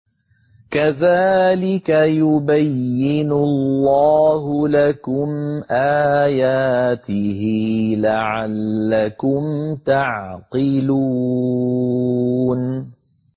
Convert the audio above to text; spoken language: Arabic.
كَذَٰلِكَ يُبَيِّنُ اللَّهُ لَكُمْ آيَاتِهِ لَعَلَّكُمْ تَعْقِلُونَ